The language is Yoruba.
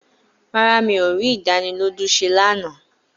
Rárá, mi ò rí ìdánilójú ṣé lánàá